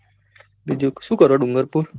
બીજું શું કરો છો ડુંગરપુર